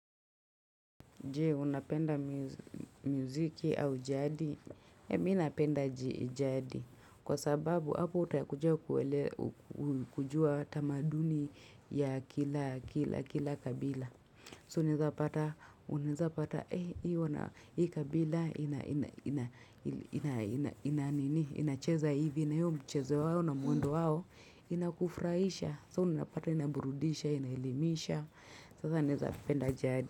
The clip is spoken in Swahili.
Je, unapenda muziki au jadi. Mimi, napenda jadi. Kwa sababu, hapo utakuja kujua tamaduni ya kila kabila. So, unaeza pata, unaeza pata, hii kabila, inacheza hivi, na hiyo mchezo wao na mwendo wao, inakufurahisha. So, unapata, inaburudisha, inelimisha. Sasa, unapenda jadi.